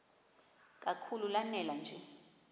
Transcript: kakhulu lanela nje